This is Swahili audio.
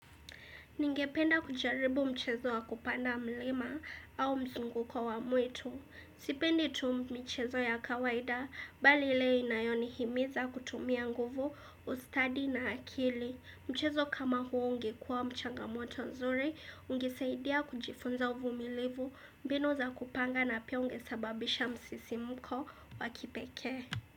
Ningependa kujaribu mchezo wa kupanda mlima au mzunguko wa wa mwitu. Sipendi tu michezo ya kawaida bali ile inayonihimiza kutumia nguvu, ustadi na akili. Mchezo kama huo ungekuwa mchangamoto nzuri, ungesaidia kujifunza uvumilivu, mbinu za kupanga na pia ungesababisha msisimko wa kipekee.